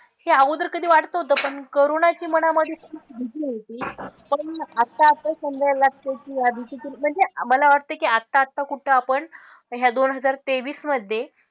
हे अगोदर कधी वाटत नव्हतं पण कोरोनाची मनामधे अशी एक भीती होती पण आता आता समजायला लागतंय की या भीतीतून म्हणजे आम्हाला वाटतं की आता आता कुठं आपण ह्या दोन हजार तेवीसमधे,